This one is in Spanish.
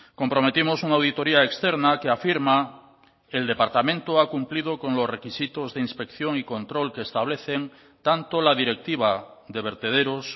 comprometimos una auditoría externa que afirma el departamento ha cumplido con los requisitos de inspección y control que establecen tanto la directiva de vertederos